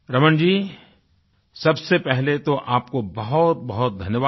रमण जी सबसे पहले तो आपको बहुतबहुत धन्यवाद